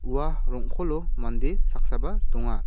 ua rong·kolo mande saksaba donga.